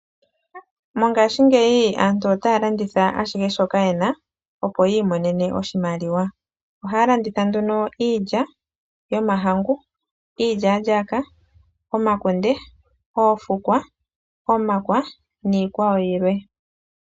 Mongaashingeyi aantu otaya landitha ashihe shoka yena, opo yi imonene oshimaliwa. Ohaya landitha nduno iilya, iilyaalyaaka, omakunde, oofukwa, omakwa niikwawo yilwe.